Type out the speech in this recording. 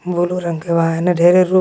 blue रंग के बा हेने धेरे रुख--